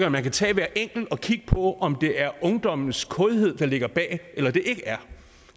at man kan tage hver enkelt og kigge på om det er ungdommens kådhed der ligger bag eller det ikke er